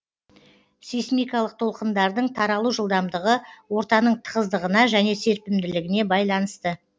сейсмикалық толқындардың таралу жылдамдығы ортаның тығыздығына және серпімділігіне байланысты